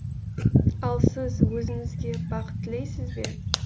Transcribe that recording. ал сіз өзіңізге бақыт тілейсіз бе